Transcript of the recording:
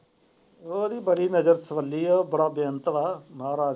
ਉਹਦੀ ਬੜੀ ਨਜਰਸਵਾਲੀ ਹੁੰਦੀ ਹੈ ਬੜਾ ਬਿਯੰਤ ਵਾ ਮਹਾਰਾਜ।